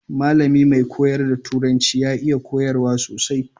Mallami mai koyar da turanci ya iya koyarwa sosai.